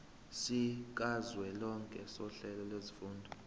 sikazwelonke sohlelo lwezifundo